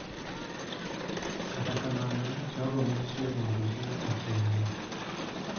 Kata kamano, jogo ma oyie mondo gino otimre .